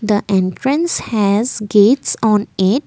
the entrance has gates on it.